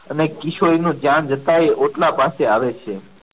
અને કિશોરી નું ધ્યાન જતા એ ઓટલા પાસે આવે છે.